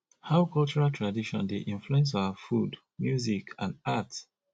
how cultural tradition dey influence our food music and art